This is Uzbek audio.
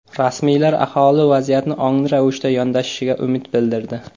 Rasmiylar aholi vaziyatni ongli ravishda yondashishiga umid bildirdi.